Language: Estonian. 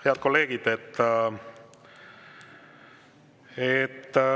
Head kolleegid!